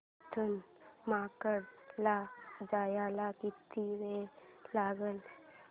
इथून मार्केट ला जायला किती वेळ लागेल